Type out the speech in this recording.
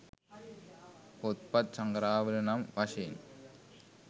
පොත්පත් සඟරාවල නම් වශයෙන්